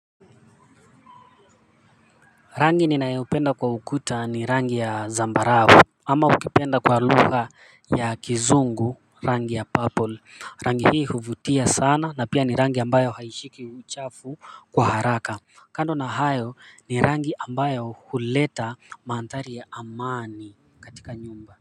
Rangi ninayoupenda kwa ukuta ni rangi ya zambarau ama ukipenda kwa lugha ya kizungu rangi ya purple rangi hii huvutia sana na pia ni rangi ambayo haishiki uchafu kwa haraka kando na hayo ni rangi ambayo huleta manthari ya amani katika nyumba.